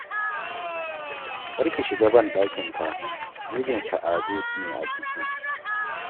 Kar ki shiga banɗakin fa, mijin Sa'ade ne a ciki